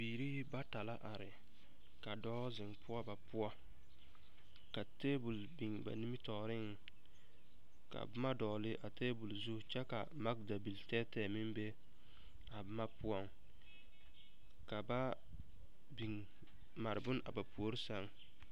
Bibiiri bata are ka dɔɔ zeŋ poɔ ba poɔ ka table biŋ a nimitɔɔreŋ ka boma dɔgle a table zu kyɛ ka magdabil tɔɛtɔɛ meŋ be a boma poɔŋ ka ba biŋ mare vuu a ba puori sɛŋ.